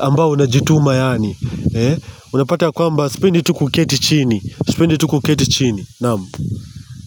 ambao hunajituma yaani unapata kwamba sipendi tu kuketi chini. Sipendi tu kuketi chini Namu.